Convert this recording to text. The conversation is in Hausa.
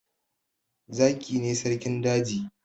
Zaki ne sarkin daji